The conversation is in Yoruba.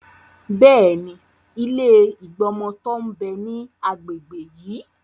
Bẹ́ẹ̀ni, ilé ìgbọmọtọ́ ń bẹ ní agbègbè yí.